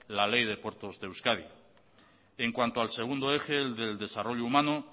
la ley de puertos de euskadi en cuanto al segundo eje el del desarrollo humano